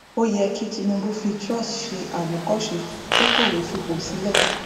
ó yẹ kí tinubu fi truss ṣe àwòkọṣe kó kọwé fipò sílẹ